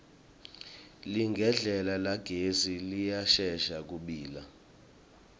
ligedlela lagesi liyashesha kubila